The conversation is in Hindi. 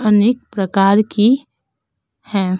अनेक प्रकार की हैं।